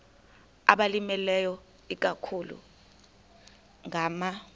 abalimileyo ikakhulu ngama